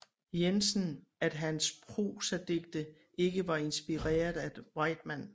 Jensen at hans prosadigte ikke var inspireret af Whitman